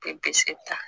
Bɛ pise ta